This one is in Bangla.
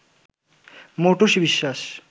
মৌটুসী বিশ্বাস